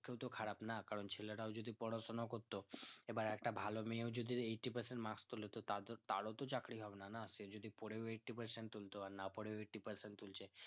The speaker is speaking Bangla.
দেখতেও তো খারাপ না কারণ ছেলেরাও যদি পড়াশোনা করতো এবার একটা ভালো মেয়েও যদি eighty percent marks তোলে তো তাদেরতারও তো চাকরি হবে না না সে যদি পড়েও eighty percent তুলতো না পরে eighty percent তুলছে